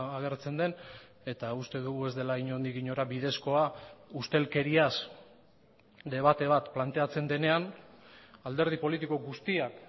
agertzen den eta uste dugu ez dela inondik inora bidezkoa ustelkeriaz debate bat planteatzen denean alderdi politiko guztiak